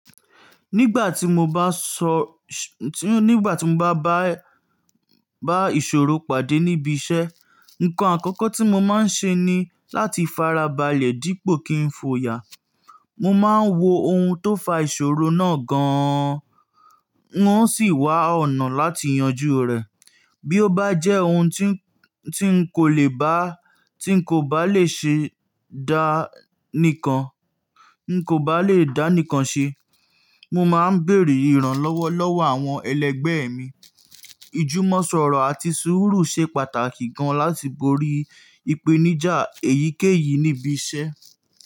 Nígbà tí mo bá sọ, tí, nígbà tí mo bá bá, bá ìṣòro pàdé níbi iṣẹ́, ǹkan àkọ́kọ́ tí mo máa ń ṣe ni láti fara balẹ̀ dípò kí n fòya. Mo máa ń wo ohun tó fa ìṣòro náà gan an. Wọ́n sì wá ọ̀nà láti yanjú rẹ̀. Bí ó bá jẹ́ ohun tí n, tí n kò lè bá, tí n kò bá lè ṣe dá nìkan, n kò bá lè dá nìkan ṣe, mo máa ń bèèrè ìrànlọ́wọ́ lọ́wọ́ àwọn ẹlẹgbẹ́ mi. Ìjùmọ̀sọ̀rọ̀ àti sùúrù ṣe pàtàkì gan láti borí ipenija èyíkéyìí níbi iṣẹ́.